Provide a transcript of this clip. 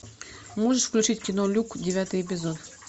можешь включить кино люк девятый эпизод